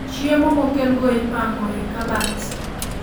Chiemo mokel go ipango e kabat